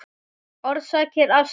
Orsakir astma